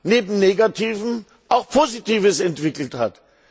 neben Negativem auch Positives entwickelt hat.